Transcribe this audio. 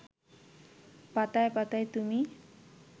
পাতায় পাতায় তুমি